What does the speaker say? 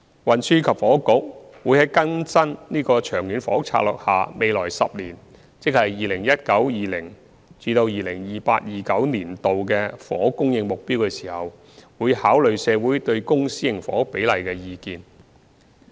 運輸及房屋局會在更新《長遠房屋策略》下未來10年的房屋供應目標時，考慮社會對公私營房屋比例的意見。